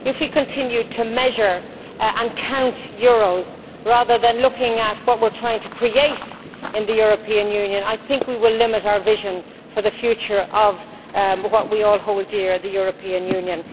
If we continue to measure and count euros, rather than looking at what we are trying to create in the European Union, I think we will limit our vision for the future of what we all hold dear at the European Union.